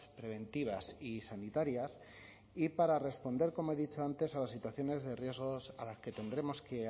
preventivas y sanitarias y para responder como he dicho antes a las situaciones de riesgo a las que tendremos que